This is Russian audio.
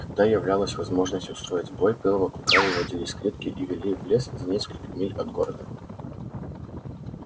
когда являлась возможность устроить бой белого клыка выводили из клетки и вели в лес за несколько миль от города